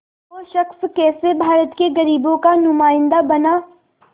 वो शख़्स कैसे भारत के ग़रीबों का नुमाइंदा बना